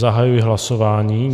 Zahajuji hlasování.